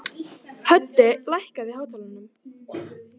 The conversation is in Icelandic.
Höddi, lækkaðu í hátalaranum.